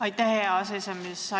Aitäh, hea aseesimees!